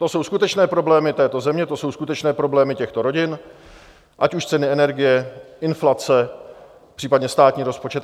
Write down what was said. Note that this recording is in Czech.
To jsou skutečné problémy této země, to jsou skutečné problémy těchto rodin, ať už ceny energie, inflace, případně státní rozpočet.